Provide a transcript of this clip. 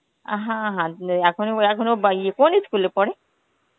আহ হ্যাঁ হানতে~ এখনই~ ও এখনো বাই~ কোন ই school এ পড়ে?